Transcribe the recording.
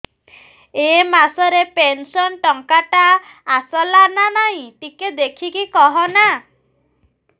ଏ ମାସ ରେ ପେନସନ ଟଙ୍କା ଟା ଆସଲା ନା ନାଇଁ ଟିକେ ଦେଖିକି କହନା